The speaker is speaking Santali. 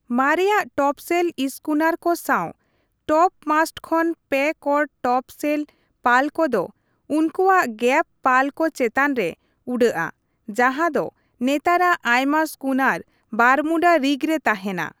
ᱢᱟᱨᱮᱭᱟᱜ ᱴᱚᱯᱥᱮᱞ ᱤᱥᱠᱩᱱᱟᱨ ᱠᱚ ᱥᱟᱶ ᱴᱚᱯᱢᱟᱥᱴ ᱠᱷᱚᱱ ᱯᱮᱠᱚᱬ ᱴᱚᱯᱥᱮᱞ ᱯᱟᱞ ᱠᱚᱫᱚ ᱩᱱᱠᱩᱣᱟᱜ ᱜᱮᱯᱷ ᱯᱟᱞ ᱠᱚ ᱪᱮᱛᱟᱱ ᱨᱮ ᱩᱰᱟᱹᱜᱼᱟ, ᱡᱟᱸᱦᱟ ᱫᱚ ᱱᱮᱛᱟᱨᱟᱜ ᱟᱭᱢᱟ ᱥᱠᱩᱱᱟᱨ ᱵᱟᱨᱢᱩᱰᱟ ᱨᱤᱜᱽ ᱨᱮ ᱛᱟᱦᱮᱱᱟ ᱾